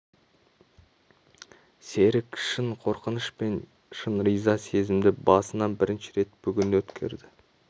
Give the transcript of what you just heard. серік шын қорқыныш пен шын риза сезімді басынан бірінші рет бүгін өткерді